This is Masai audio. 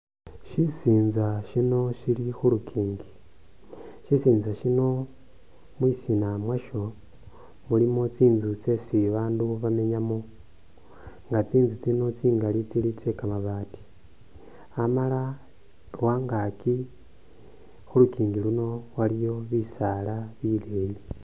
Shisintsa shino shili khulukingi shisintsa shino mwisina mwasho mulimo tsintsu tsesi babandu bamenyamo, nga tsintsu tsino tsingali tsili tse kamabati amala lwangaki khulukingi luno waliyo bisaala bileyi